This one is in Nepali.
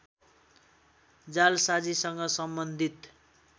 जालसाजीसँग सम्बन्धित